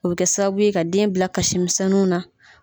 O bɛ kɛ sababuye ka den bila kasimisɛnuw na.